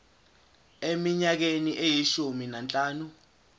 eminyakeni eyishumi nanhlanu